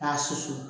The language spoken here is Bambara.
K'a susu